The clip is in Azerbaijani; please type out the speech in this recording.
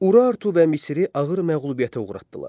Urartu və Misri ağır məğlubiyyətə uğratdılar.